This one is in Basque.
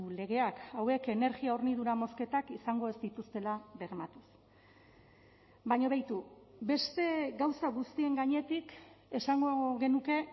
legeak hauek energia hornidura mozketak izango ez dituztela bermatuz baina beitu beste gauza guztien gainetik esango genuke